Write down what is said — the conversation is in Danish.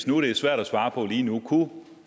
nu er svært at svare på lige nu kunne